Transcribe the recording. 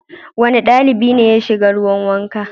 Wane ɗalibi ne ya siga ruwan wanka?